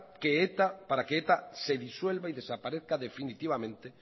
para que eta se disuelva y desaparezca definitivamente